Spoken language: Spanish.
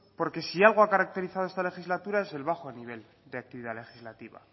porque si algo ha caracterizado esta legislatura es el bajo nivel de actividad legislativa